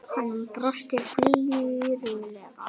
Hann brosti flírulega.